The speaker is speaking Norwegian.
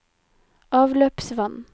avløpsvann